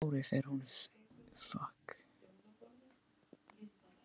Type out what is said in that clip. Á hverju ári fer hún í frí út í lönd.